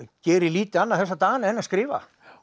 geri lítið annað þessa dagana en að skrifa